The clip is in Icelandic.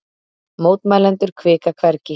Mótmælendur hvika hvergi